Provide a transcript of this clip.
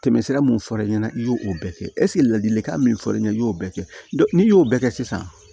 Tɛmɛsira mun fɔr'e ɲɛna i y'o o bɛɛ kɛ ladilikan min fɔr'i ye i y'o bɛɛ kɛ n'i y'o bɛɛ kɛ sisan